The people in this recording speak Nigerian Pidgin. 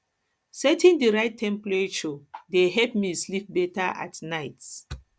setting the right temperature dey help me sleep better at night